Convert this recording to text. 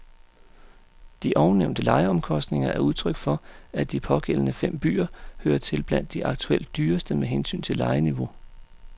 De ovennævnte lejeomkostninger er udtryk for, at de pågældende fem byer hører til blandt de aktuelt dyreste med hensyn til lejeniveau.